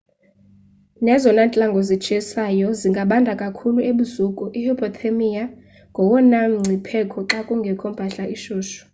nezona ntlango zitshisayo zingabanda kakhulu ebusuku i hupothermia ngowona mngcipheko xa kungekho mpahla ishushu